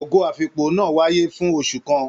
Ogo afikpo náà wáyé fún oṣù kàn.